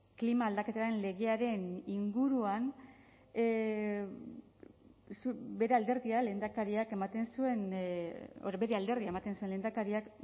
klima aldaketaren legearen inguruan bere alderdia lehendakariak ematen zuen bere alderdia ematen zen lehendakariak